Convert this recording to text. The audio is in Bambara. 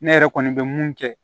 Ne yɛrɛ kɔni bɛ mun kɛ